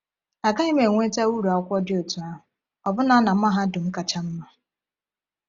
“A gaghị m enweta uru mmụọ dị otú ahụ ọbụna na mahadum kacha mma.”